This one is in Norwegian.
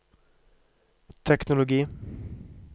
teknologi